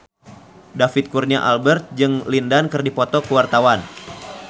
David Kurnia Albert jeung Lin Dan keur dipoto ku wartawan